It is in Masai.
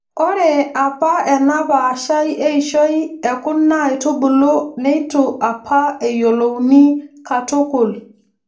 Ore apa ena paashai eishoi ekuna aitubulu neitu apa eyiolouni katukul.